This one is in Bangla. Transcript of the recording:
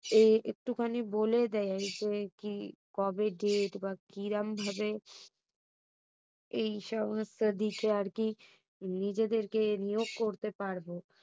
কবে date বা কিরম ভাবে এইসমস্ত দিকে আরকি নিজেদেরকে নিয়োগ করতে পারবো?